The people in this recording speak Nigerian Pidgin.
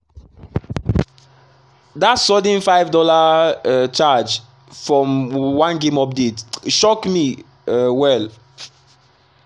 that sudden $5 um charge from one game update shock me um well.